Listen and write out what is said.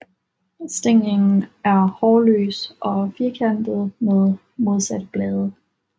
Stænglen er hårløs og firkantet med modsatte blade